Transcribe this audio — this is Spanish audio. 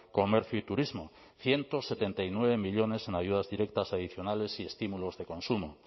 comercio y turismo ciento setenta y nueve millónes en ayudas directas adicionales y estímulos de consumo